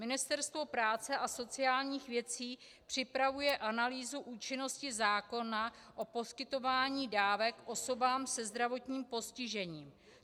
Ministerstvo práce a sociálních věcí připravuje analýzu účinnosti zákona o poskytování dávek osobám se zdravotním postižením.